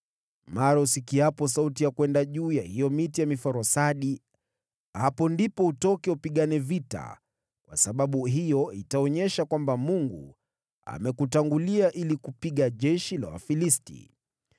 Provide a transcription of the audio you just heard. Mara usikiapo sauti ya kwenda juu ya hiyo miti ya miforosadi, hapo ndipo utoke upigane vita, kwa sababu hiyo itaonyesha kwamba Mungu amekutangulia ili kupiga jeshi la Wafilisti.”